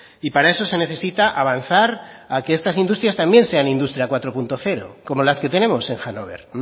y para eso se necesita avanzar a que estas industrias también sean industria cuatro punto cero como las que tenemos en hannover